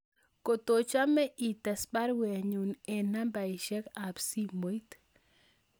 Kotochome ites baruenyun en nambaisiek ab simoit